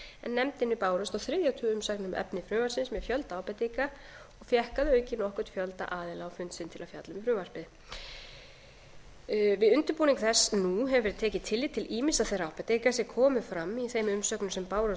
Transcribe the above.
nefndinni bárust á þriðja tug umsagna um efni frumvarpsins með fjölda ábendinga og fékk að auki nokkurn fjölda aðila á fund sinn til að fjalla um frumvarpið við undirbúning þess nú hefur verið tekið tillit til ýmissa þeirra ábendinga sem komu fram í þeim umsögnum sem bárust